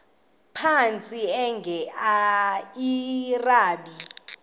phantsi enge lrabi